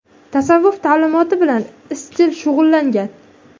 Tasavvuf ta’limotini bilan izchil shug‘ullangan.